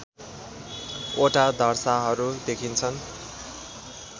वटा धर्साहरू देखिन्छन्